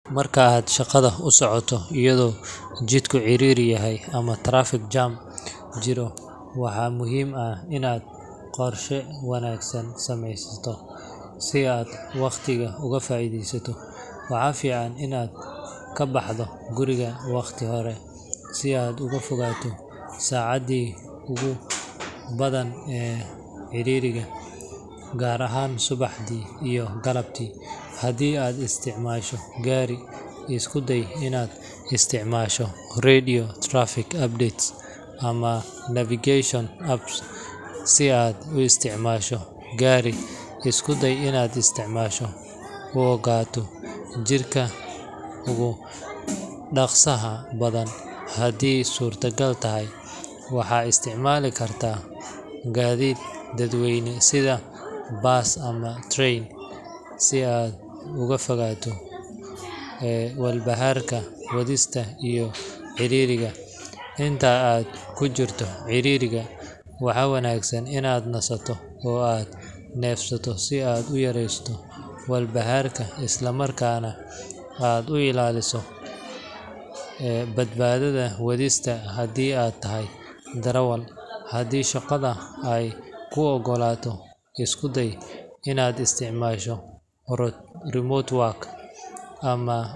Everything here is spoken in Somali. Marka aad shaqada usocoto iyadho jidka cariri yahay ama trafic jam jiro, waxa muhim ah inad qorshe wanagsan sameysato sii aad waqatiga oga faidesato, waxa fican inad kabaxdo guriga waqti hore sii aad ogafogato sacadi ogubadhan ee ciririga, gar ahan subaxdi iyoh galabti hadi aad istacmasho gari iskudey inad istacmasho redio trafic apdate amah nafication apps, sii aadf uistacmasho gari isdudey inad istacmasho ugato jidka ugu daqsiga badhan hadi aay surta gal tahay, waxad istacmali karta gadid dad weyne sidha bus amah train sii aad ogafogato ee walbaharka wadista iyo caririga, inta aad kujirto caririga waxa wanagsan inad aad nasato oo aad nefsato sii aad uyaresato walbaharka islamarka nah aad uu ilaliso ee badbadista hadi aa tahahy darawal hadi shaqadha aay kuu ogolato iskudey inad istacmasho remote work ama.